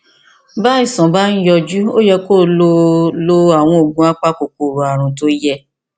bí àìsàn bá ń yọjú ó yẹ kí o lo lo àwọn oògùn apakòkòrò ààrùn tó yẹ